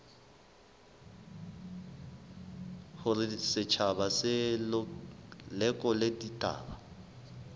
hore setjhaba se lekole ditaba